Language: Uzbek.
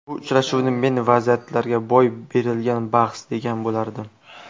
Bu uchrashuvni men vaziyatlar boy berilgan bahs, degan bo‘lardim.